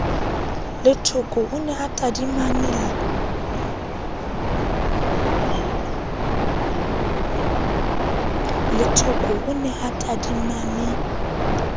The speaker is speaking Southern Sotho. lethoko o ne a tadimane